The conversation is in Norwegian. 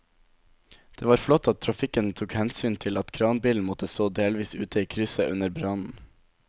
Det var flott at trafikken tok hensyn til at kranbilen måtte stå delvis ute i krysset under brannen.